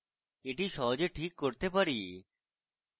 এটি সহজে ঠিক করতে পারি